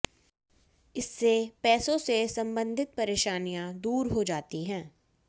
इससे पैसों से सम्बन्धित परेशानियां दूर हो जाती है